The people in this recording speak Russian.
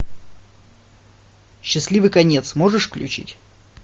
счастливый конец можешь включить